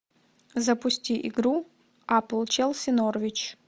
запусти игру апл челси норвич